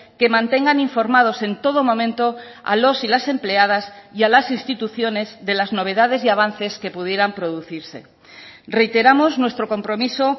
que mantengan informados en todo momento a los y las empleadas y a las instituciones de las novedades y avances que pudieran producirse reiteramos nuestro compromiso